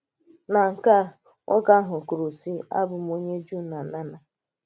Na nke à, nwoke àhụ̀ kwùrù, sị̀: Abù m onye Jùù na onye lána